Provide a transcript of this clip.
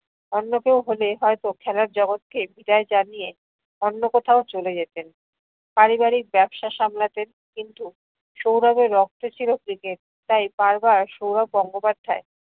অন্য কেও হলে হয়তো খেলার জগতকে বিদায় জানিয়ে অন্য কোথাও চলে যেতেন। পারিবারিক ব্যাবসা সামলাতেন কিন্তু সৌরভের রক্তে ছিল cricket তাই বার বার সৌরভ গঙ্গোপাধ্যায়